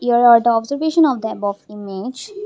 here are the observation of the above of image.